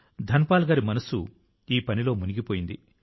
Dhan Paul గారి మనస్సు ఈ పనిలో మునిగిపోయింది